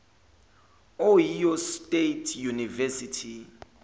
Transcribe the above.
ohio state university